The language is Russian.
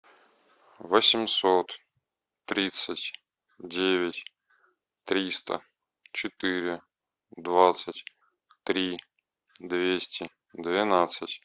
восемьсот тридцать девять триста четыре двадцать три двести двенадцать